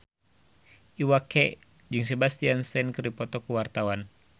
Iwa K jeung Sebastian Stan keur dipoto ku wartawan